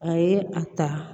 A ye a ta